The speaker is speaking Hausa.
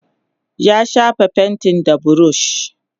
ya shafa fainti da burush